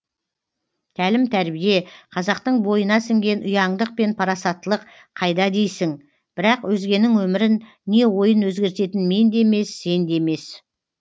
тәлім тәрбие қазақтың бойына сіңген ұяңдық пен парасатттылық қайда дейсің бірақ өзгенің өмірін не ойын өзгертетін мен де емес сен де емес